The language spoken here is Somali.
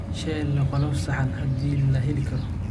Sheller leh qolof saxan haddii la heli karo.